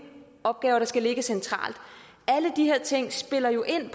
opgaver der skal ligge centralt alle de her ting spiller jo ind